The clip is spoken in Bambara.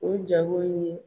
O jago in ye